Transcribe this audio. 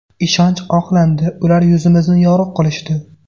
Ishonch oqlandi, ular yuzimizni yorug‘ qilishdi.